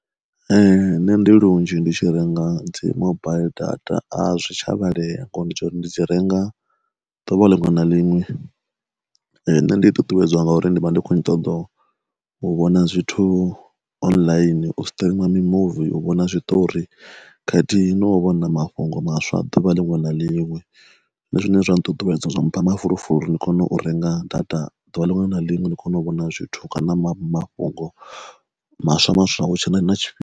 Ee nṋe ndi lunzhi ndi tshi renga dzi mobaiḽi data a zwi tsha vhalea ngori ndi dzi renga duvha linwe na linwe. Nne ndi ṱuṱuwedzwa ngauri ndi vha ndi ṱoḓo u vhona zwithu online u streamer mi muvi, u vhona zwiṱori, khathihi no u vhona mafhungo maswa a duvha linwe na linwe, zwine zwine zwa nṱuṱuwedza zwa mpha mafulufulo uri ndi kone u renga data duvha linwe na linwe ndi kone u vhona zwithu kana mafhungo maswa maswa hu tshe na tshifhinga.